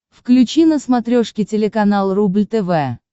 включи на смотрешке телеканал рубль тв